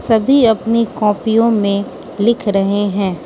सभी अपनी कॉपीयों में लिख रहें हैं।